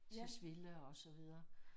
Tisvilde og så videre